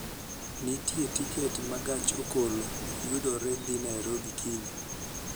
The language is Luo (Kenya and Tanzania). Nitie tiket ma gach okolo yudore dhi Nairobi kiny